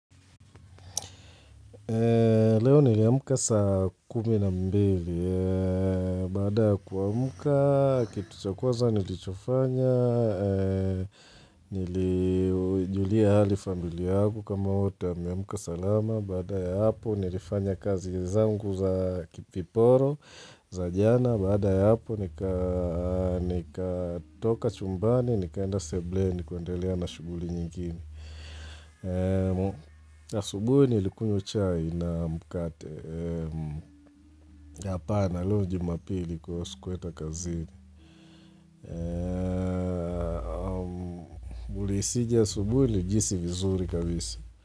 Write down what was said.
Leo niliamka saa kumi na mbili, baada ya kuamka kitu cha kwanza nilichofanya, nilijulia hali familia yangu kama imeamka m salama, baada ya hapo nilifanya kazi zangu za kiporo, za jana, baada. Ya hapo.nikaa nika toka chumbani, nikaenda seblen, kuendelea na shuguli nyingine asubuhi nilikunywa chai na mkate ee hapana leo jumapili sikuenda kazini. Ulihisije asubuhi? Nilijihisi vizuri kabisa.